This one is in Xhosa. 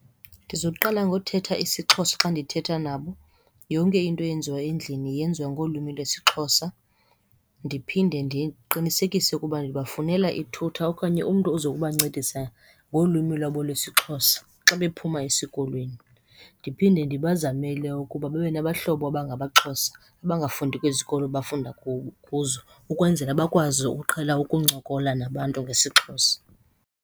Ndiza kuqala ngothetha isiXhosa xa ndithetha nabo, yonke into eyenziwa endlini yenziwa ngolwimi lwesiXhosa. Ndiphinde ndiqinisekise ukuba ndibafunela i-tutor okanye umntu oza kubancedisa ngolwimi lwabo lwesiXhosa xa bephuma esikolweni. Ndiphinde ndibazamele ukuba babe nabahlobo abangamaXhosa abangafundi kwezi zikolo bafunda kuzo ukwenzela bakwazi ukuqhela ukuncokola nabantu ngesiXhosa.